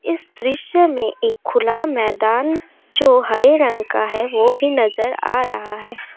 इस दृश्य में एक खुला मैदान जो हरे रंग का है। वो भी नजर आ रहा है